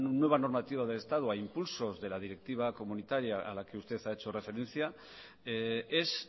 nueva normativa del estado a impulsos de la directiva comunitaria a la que usted ha hecho referencia es